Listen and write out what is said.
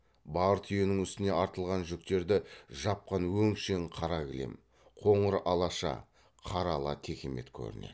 бар түйенің үстіне артылған жүктерді жапқан өңшең қара кілем қоңыр алаша қара ала текемет көрінеді